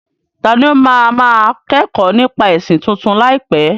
Tani ó máa máa kẹ́kọ̀ọ́ nípa ẹ̀sìn tuntun láìpẹ́?